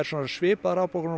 svipaðar afbókanir